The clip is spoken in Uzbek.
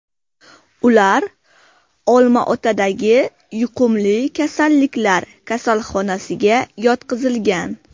Ular Olmaotadagi yuqumli kasalliklar kasalxonasiga yotqizilgan.